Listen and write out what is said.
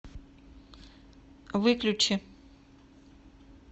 выключи